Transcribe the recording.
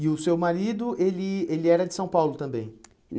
E o seu marido, ele ele era de São Paulo também?